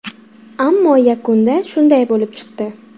Ammo yakunda shunday bo‘lib chiqdi.